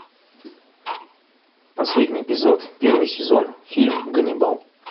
последний эпизод первый сезон фильм ганнибал